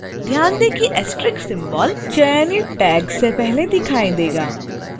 ध्यान दें कि * asterisk symbol चयनित tags से पहले दिखाई देगा